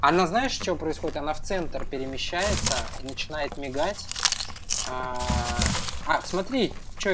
она знаешь что происходит она в центр перемещается и начинает мигать а смотри что